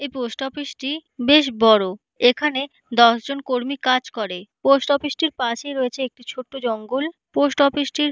এই post office - টি বেশ বড় এখানে দশ জন কর্মী কাজ করে পোস্ট অফিস - টির পাশেই রয়েছে একটি ছোট্ট জঙ্গল পোস্ট অফিস - টির--